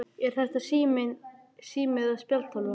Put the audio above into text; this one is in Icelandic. Er þetta sími eða spjaldtölva?